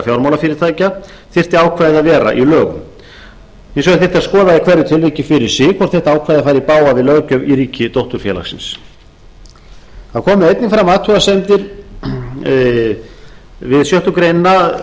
fjármálafyrirtækja þyrfti ákvæðið að vera í lögum hins vegar þyrfti að skoða í hverju tilviki fyrir sig hvort þetta ákvæði færi í bága við löggjöf í ríki dótturfélagsins það komu einnig fram athugasemdir við sjöttu grein